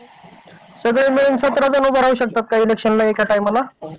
सगळे मिळून सतरा जण उभं राहू शकतात का एका टायमाला?